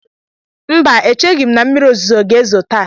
Mba, echeghị m na mmiri ozuzo ga-ezo taa.